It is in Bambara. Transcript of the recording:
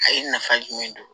A ye nafa jumɛn don